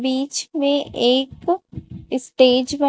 बीच में एक स्टेज बना--